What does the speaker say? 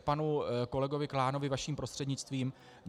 K panu kolegovi Klánovi vaším prostřednictvím.